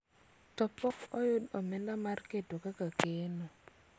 to pok oyudo omenda mar keto kaka keno